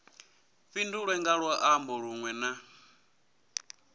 fhindulwe nga luambo lunwe na